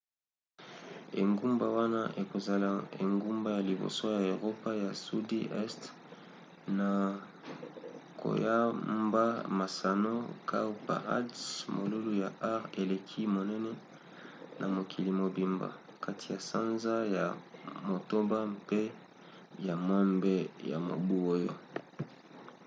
engumba wana ekozala engumba ya liboso ya eropa ya sudi este na koyamba masano cowparade molulu ya art eleki monene na mokili mobimba kati ya sanza ya motoba mpe ya mwambe ya mobu oyo